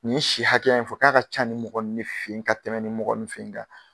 Nin si hakɛya in fɔ k'a ka ca nin mɔgɔ nn de fe ye ka tɛmɛ nin mɔgɔ nu fe ye ka